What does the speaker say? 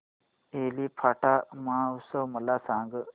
एलिफंटा महोत्सव मला सांग